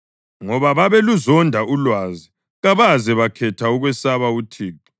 Ngoba babeluzonda ulwazi kabaze bakhetha ukwesaba uThixo